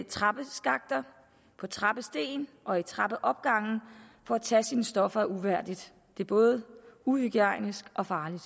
trappeskakter på trappesten og i trappeopgange for at tage sine stoffer er uværdigt det er både uhygiejnisk og farligt